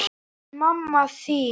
En mamma þín?